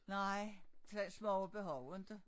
Nej smag og behag inte